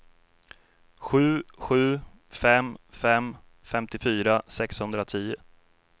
sju sju fem fem femtiofyra sexhundratio